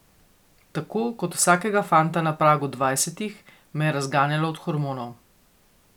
Tako kot vsakega fanta na pragu dvajsetih me je razganjalo od hormonov.